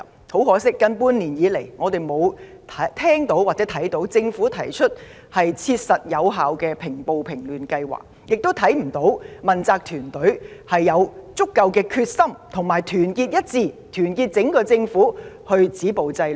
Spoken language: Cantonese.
很可惜，近半年來，我們看不到政府提出切實有效的計劃平暴平亂，亦看不到問責團隊展現足夠的決心和團結精神，帶領整個政府止暴制亂。